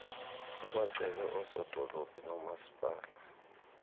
ukwacele oosodolophu noomaspala